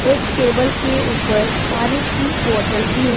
एक टेबल के ऊपर पानी की बॉटल भी है।